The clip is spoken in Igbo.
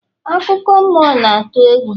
akụkọ mmụọ na-atụ egwu